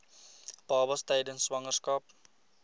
babas tydens swangerskap